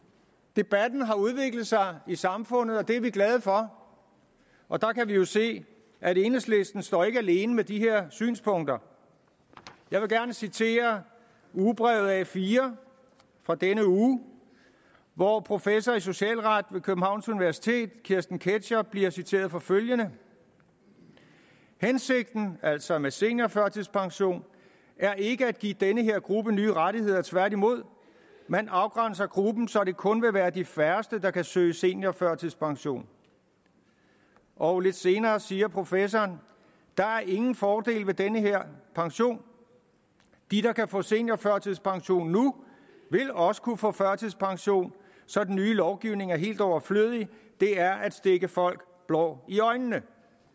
debatten har udviklet sig i samfundet og det er vi glade for og der kan vi jo se at enhedslisten ikke står alene med de her synspunkter jeg vil gerne citere ugebrevet a4 fra denne uge hvor professor i socialret ved københavns universitet kirsten ketscher bliver citeret for følgende hensigten altså med seniorførtidspension er ikke at give den her gruppe nye rettigheder tværtimod man afgrænser gruppen så det kun vil være de færreste der kan søge seniorførtidspension og lidt senere siger professoren der er ingen fordele ved den her pension de der kan få en seniorførtidspension nu ville også kunne få førtidspension så den nye lovgivning er helt overflødig det er at stikke folk blår i øjnene